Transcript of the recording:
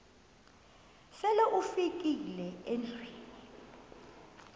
sele ufikile endlwini